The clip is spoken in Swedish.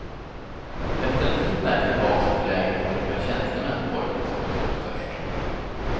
Efter en tid märkte basen för lägret och några tjänstemän pojkens kunskapstörst.